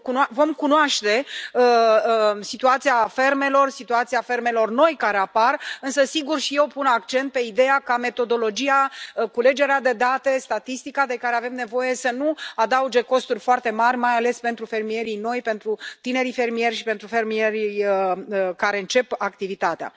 Vom cunoaște situația fermelor, situația fermelor noi care apar, însă, sigur, și eu pun accent pe ideea ca metodologia, culegerea de date, statistica de care avem nevoie să nu adauge costuri foarte mari, mai ales pentru fermierii noi, pentru tinerii fermieri și pentru fermierii care încep activitatea.